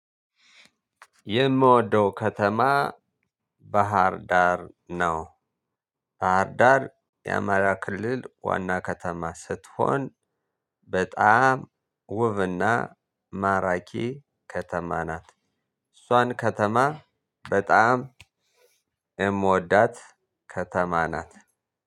የምወደው ከተማ ባህር ዳር ነው። ባህር ዳር የአማራ ክልል ዋና ከተማ ስትሆን በጣም ውብና ማራኪ ከተማ ናት። እሷን ከተማ በጣም የምወዳት ከተማ ናት።